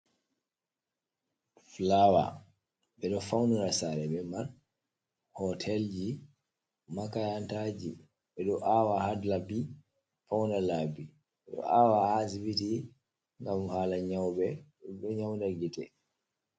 Flawa ɓe ɗo faunira sare be mai, Hotelji, Makayantaji ɓe ɗo awa ha labi pauna labi, ɓe ɗo awa ha Asibitiji ngam hala nyauɓe ɗum ɗo nyauda gite.